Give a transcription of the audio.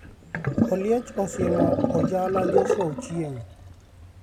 Oliech osiemo Ojala Joshua Ochieng'